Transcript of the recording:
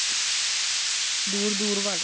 ਦੂਰ ਦੂਰ ਵਾਲੇ